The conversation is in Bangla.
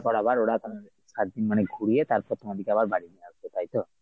পর আবার ওরা এর সাতদিন মানে ঘুরিয়ে তারপর তোমাদেরকে আবার বাড়ি নিয়ে আসবে তাই তো?